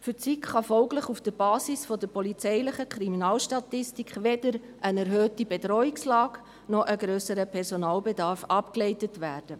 Für die SiK kann folglich auf der Basis der polizeilichen Kriminalstatik weder eine erhöhte Bedrohungslage noch ein grösserer Personalbestand abgeleitet werden.